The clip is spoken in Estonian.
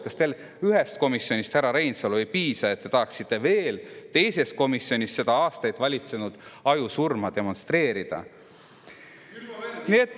Kas teile ühest komisjonist, härra Reinsalu, ei piisa, et te tahaksite veel teises komisjonis seda aastaid valitsenud ajusurma demonstreerida?